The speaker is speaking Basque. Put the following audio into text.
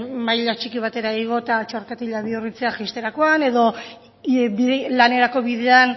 maila txiki batera igo txorkatila bihurritzea jaisterakoan edo lanerako bidean